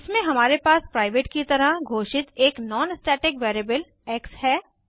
इसमें हमारे पास प्राइवेट की तरह घोषित एक नॉन स्टैटिक वेरिएबल एक्स है